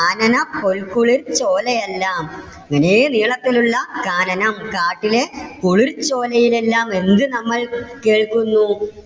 കാനനപ്പോൽക്കുളിർ ചോലയെല്ലാം ഇതേ നീളത്തിൽ ഉള്ള കാനനം കാട്ടിലെ കുളിർച്ചോലയിൽ എല്ലാം എന്ത് നമ്മൾ കേൾക്കുന്നു?